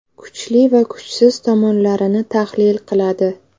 Kuchli va kuchsiz tomonlarini tahlil qiladi.